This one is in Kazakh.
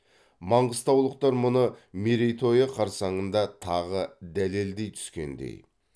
маңғыстаулықтар мұны мерейтойы қарсаңында тағы дәлелдей түскендей